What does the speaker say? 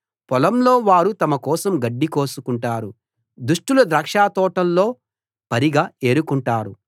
పొలంలో వారు తమ కోసం గడ్డి కోసుకుంటారు దుష్టుల ద్రాక్షతోటల్లో పరిగ ఏరుకుంటారు